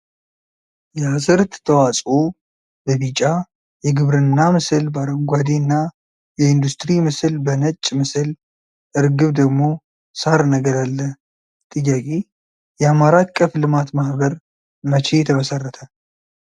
የአዝርእት ተዋፅኦ በቢጫ ፤ የግብርና ምስል በአረንጓዴ እና የኢንደስትሪ ምስል በነጭ ምስል እርግብ ደግሞ ሳር ነገር አለ ፤ ጥያቄ :- የአማራ አቀፍ ልማት ማህበር መቼ ተመሰረተ?